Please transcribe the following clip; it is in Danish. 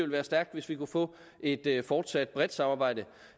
være stærkt hvis vi kunne få et fortsat bredt samarbejde